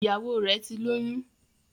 Ìyàwọ rè tí lóyún